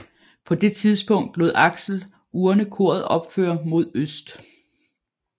På det tidspunkt lod Axel Urne koret opføre mod øst